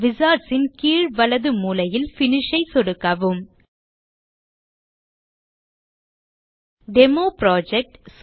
wizards ன் கீழ் வலது மூலையில் Finish ஐ சொடுக்கவும் டெமோப்ராஜெக்ட்